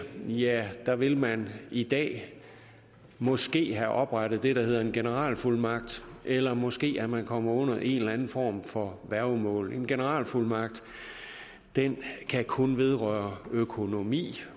ja der vil man i dag måske have oprettet det der hedder en generalfuldmagt eller måske er man kommet under en eller anden form for værgemål en generalfuldmagt kan kun vedrøre økonomi